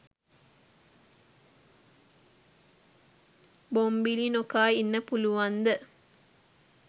බොම්බිලි නොකා ඉන්න පුළුවන්ද?